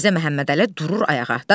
Mirzə Məhəmmədəli durur ayağa.